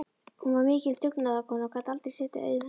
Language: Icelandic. Hún var mikil dugnaðarkona og gat aldrei setið auðum höndum.